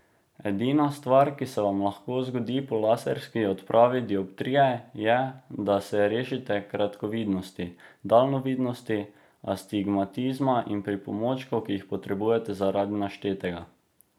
Edina stvar, ki se vam lahko zgodi po laserski odpravi dioptrije, je, da se rešite kratkovidnosti, daljnovidnosti, astigmatizma in pripomočkov, ki jih potrebujete zaradi naštetega.